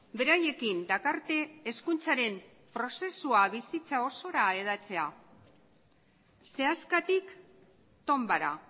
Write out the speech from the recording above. beraiekin dakarte hezkuntzaren prozesua bizitza osora hedatzea sehaskatik tonbara